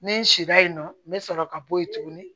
Ni n sira yen nɔ n bɛ sɔrɔ ka bɔ yen tugunni